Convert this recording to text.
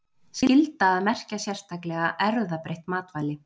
Skylda að merkja sérstaklega erfðabreytt matvæli